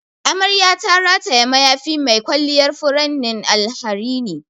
Amarya ta rataya mayafi mai kwalliyar furannin alharini.